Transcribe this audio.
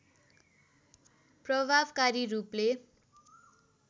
प्रभावकरी रूपले